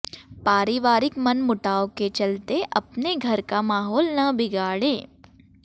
पारिवारिक मन मुटाव के चलते अपने घर का माहौल न बिगाड़ें